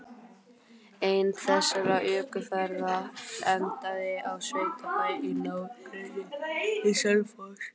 Ein þessara ökuferða endaði á sveitabæ í nágrenni við Selfoss.